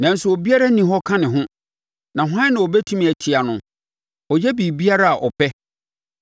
“Nanso ɔbiara nni hɔ ka ne ho, na hwan na ɔbɛtumi atia no? Ɔyɛ biribiara a ɔpɛ.